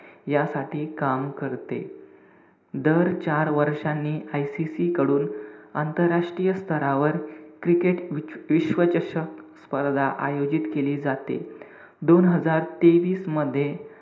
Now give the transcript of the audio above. यासाठी काम करते. दर चार वर्षांनी ICC कडून आंतरराष्ट्रीय स्थरावर, cricket विच~ विश्वचषक स्पर्धा आयोजित केली जाते.